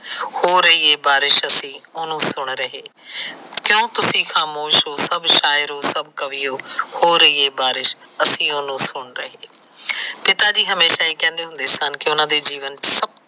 ਹੋ ਰਹੀ ਬਾਰਿਸ਼ ਅਸੀ ਉਹਨੂੰ ਸੁਣ ਰਹੇ ਕਿਉ ਤੂਸੀ ਖਾਮੋਸ ਹੋ ਸੱਭ ਸ਼ਾਇਰੋ ਸੱਭ ਕਵਿਯੋ, ਹੋ ਰਹੀ ਏ ਬਾਰਿਸ਼ ਅਸੀ ਉਹਨੂੰ ਸੁਣ ਰਹੇ ਆ। ਪਿਤਾ ਜੀ ਹਮੇਸ਼ਾ ਇਹ ਕਹਿੰਦੇ ਹੁੰਦੇ ਸਨ ਕਿ ਉਹਨਾ ਦੇ ਜੀਵਨ ਚ ਸੱਭ